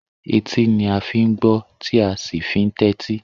Etí ni a fi ń gbọ́, tí a sì fi ń tẹ́tí.